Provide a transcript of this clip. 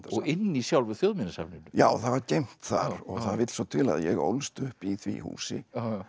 og inni í sjálfu Þjóðminjasafninu já það var geymt þar það vill svo til að ég ólst upp í því húsi